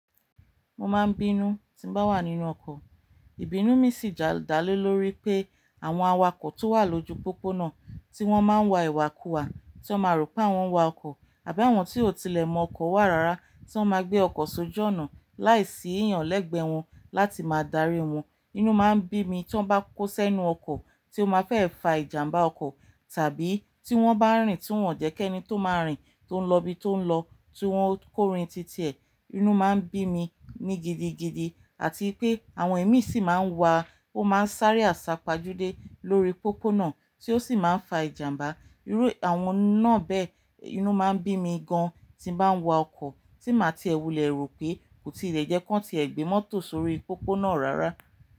Mo máa ń bínú tí n bá wà nínú ọkọ̀. Ìbínú mi sì da le lóri pé àwọn awakọ̀ tó wà lójú pópónà tí wọ́n máa ń wa ìwàkuwa, tí wọ́n ma rò pé wọ́n wa ọkọ̀ àbí àwọn tí ò tilẹ̀ mọ ọkọ̀ wà rara tí wọ́n máa gbé ọkọ̀ s'ójọ́ ọ̀nà láìsí èèyàn lẹ́gbẹ̀ẹ́ wọn láti máa darí wọn. Inú máa ń bí mi tí wọ́n bá kó sẹ́nu ọkọ̀ tí ó máa fẹ́ fa ìjàmbá ọkọ̀ tàbí tí wọ́n bá rìn tí wọ́n jẹ́ ki e ní tó máa rìn tó ń lọ ibi tó ń lọ, tí wọ́n ó kórin títì e. Inú máa ń bí mi ní gidigidi. Àti pé àwọn èémí sì máa ń wà ó máa ń sáré àsá pajúdé lórí pópónà tí ó sì máa ń fa ìjàmbá. Irú àwọn náà bẹ́ẹ̀, inú máa ń bí mi gan tí n bá ń wa ọkọ̀ tí màá ti ẹ̀ wù lẹ́ro pé kò tí ì lè jẹ́ kí wọ́n ti gbé mọ́tò sórí pópónà rara.